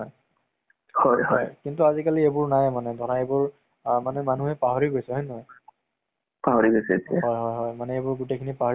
ত কি হয় মানে, কিবা এটা কাৰণত মানে police officer ৰ মানে লʼৰা এটা আ কিবা এটা কাৰণত মানে তেওঁলোকৰ গাড়ী দি accident হৈ যায় মানে